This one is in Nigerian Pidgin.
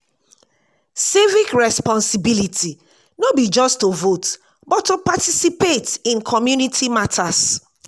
civic responsibility no be just to vote but to participate in community matters.